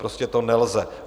Prostě to nelze.